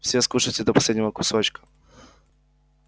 все скушаете до последнего кусочка